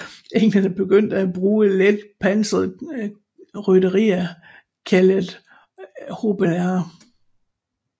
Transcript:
Englænderne begyndte at bruge let pansret rytteri kaldet hobelarer